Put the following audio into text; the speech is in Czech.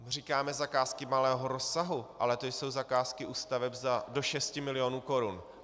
Říkáme zakázky malého rozsahu, ale to jsou zakázky u staveb do šesti milionů korun.